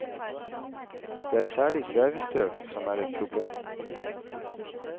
Det er særlig svevestøv som er et problem.